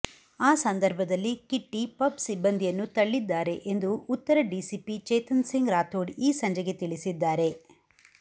ಆ ಸಂದರ್ಭದಲ್ಲಿ Kitty pub ಸಿಬ್ಬಂದಿಯನ್ನು ತಳ್ಳಿದ್ದಾರೆ ಎಂದು ಉತ್ತರ ಡಿಸಿಪಿ ಚೇತನ್ ಸಿಂಗ್ ರಾಥೋಡ್ ಈ ಸಂಜೆಗೆ ತಿಳಿಸಿದ್ದಾರೆ